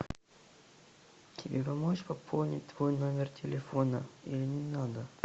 тебе помочь пополнить твой номер телефона или не надо